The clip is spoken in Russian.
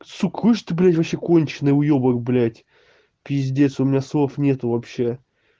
сыкуешь ты блять вообще конченый уёбок блять пиздец у меня слов нет вообще